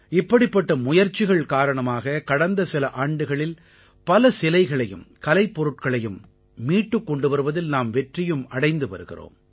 இப்படிப்பட்ட முயற்சிகள் காரணமாக கடந்த சில ஆண்டுகளில் பல சிலைகளையும் கலைப்பொருள்களையும் மீட்டுக் கொண்டு வருவதில் நாம் வெற்றியும் அடைந்து வருகிறோம்